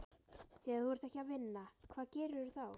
Þegar þú ert ekki að vinna, hvað gerirðu þá?